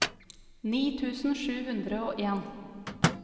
ni tusen sju hundre og en